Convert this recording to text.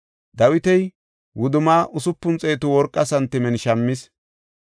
Dawiti wudumma usupun xeetu worqa santimen shammis.